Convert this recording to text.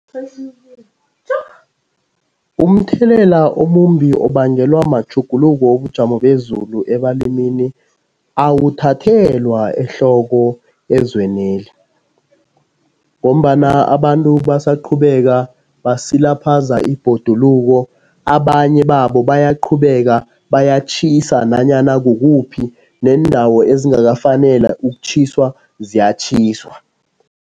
Umthelela omumbi obangelwa matjhuguluko wobujamo bezulu ebalimini awuthathelwa ehloko ezweneli ngombana abantu basaqhubeka basilaphaza ibhoduluko, abanye babo bayaqhubeka bayatjhisa nanyana kukuphi neendawo ezingakafanela ukutjhiswa ziyatjhiswa.